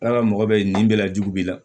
Ala ka mɔgɔ bɛ nin bɛɛ lajugu b'i la